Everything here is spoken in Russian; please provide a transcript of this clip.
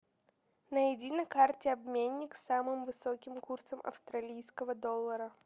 найди на карте обменник с самым высоким курсом австралийского доллара